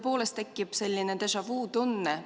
Kohale registreerus 80 Riigikogu liiget, puudub 21.